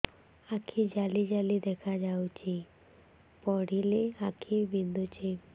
ଆଖି ଜାଲି ଜାଲି ଦେଖାଯାଉଛି ପଢିଲେ ଆଖି ବିନ୍ଧୁଛି